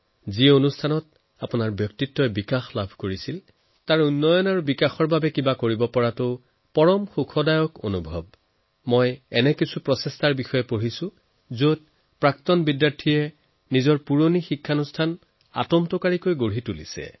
যত আপোনাৰ ব্যক্তিত্বৰ বিকাশ হল তাৰ বিকাশৰ বাবে আপুনি কিবা কৰিব তাতকৈ ডাঙৰ আনন্দৰ কথা আৰু কি হব পাৰে মই কিছুমান এনেকুৱা প্ৰয়াসৰ বিষয়ে পঢ়িছো যত প্ৰাক্তন বিদ্যাৰ্থীয়ে নিজৰ পুৰণি প্ৰতিষ্ঠানক যথেষ্ট দিছে